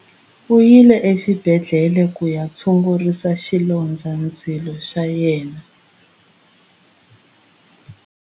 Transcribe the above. U yile exibedhlele ku ya tshungurisa xilondzandzilo xa yena.